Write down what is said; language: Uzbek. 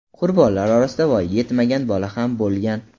Qurbonlar orasida voyaga yetmagan bola ham bo‘lgan.